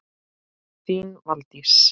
Þín Valdís.